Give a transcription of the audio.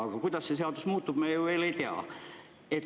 Aga kuidas see seadus muutub, me ju veel ei tea.